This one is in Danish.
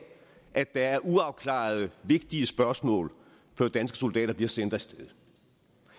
at der er uafklarede vigtige spørgsmål før danske soldater bliver sendt af sted